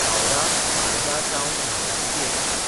हावराह–मालदा town intercity express